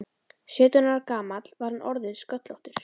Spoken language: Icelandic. Sautján ára gamall var hann orðinn sköllóttur.